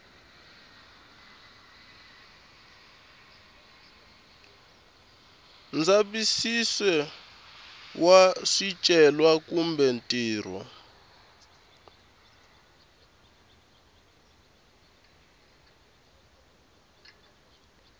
ndzavisiso wa swicelwa kumbe ntirho